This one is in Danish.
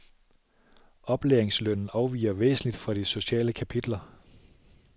Oplæringslønnen afviger væsentligt fra de sociale kapitler.